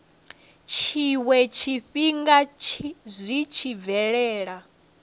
tshiwe tshifhinga zwi tshi bvelela